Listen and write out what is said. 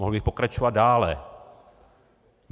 Mohl bych pokračovat dále.